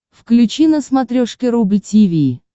включи на смотрешке рубль ти ви